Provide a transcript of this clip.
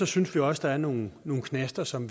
synes vi også der er nogle nogle knaster som